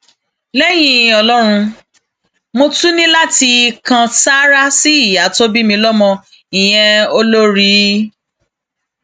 lẹyìn ọlọrun mo tún ní láti kan sáárá sí ìyá tó bí mi lọmọ ìyẹn olórí a